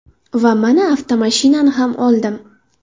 Va mana avtomashinani ham oldim.